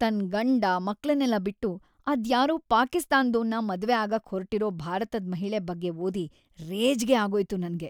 ತನ್‌ ಗಂಡ ಮಕ್ಳನ್ನೆಲ್ಲ ಬಿಟ್ಟು ಅದ್ಯಾರೋ ಪಾಕಿಸ್ತಾನ್‌ದೋನ್ನ ಮದ್ವೆ ಆಗಕ್‌ ಹೊರ್ಟಿರೋ ಭಾರತದ್‌ ಮಹಿಳೆ ಬಗ್ಗೆ ಓದಿ ರೇಜ್ಗೆ ಆಗೋಯ್ತು ನಂಗೆ.